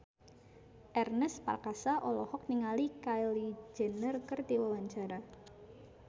Ernest Prakasa olohok ningali Kylie Jenner keur diwawancara